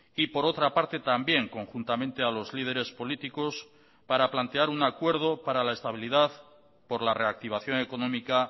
y por otra parte también conjuntamente a los líderes políticos para plantear un acuerdo para la estabilidad por la reactivación económica